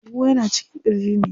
Huhu yana cikin ƙirji ne.